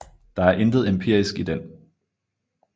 Der er intet empirisk i den